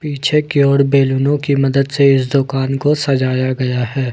पीछे की ओर बैलूनों की मदद से इस दुकान को सजाया गया है।